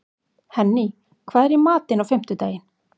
Henný, hvað er í matinn á fimmtudaginn?